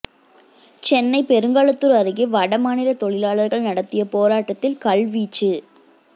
சென்னை பெருங்குளத்தூர் அருகே வட மாநில தொழிலாளர்கள் நடத்திய போராட்டத்தில் கல்வீச்சு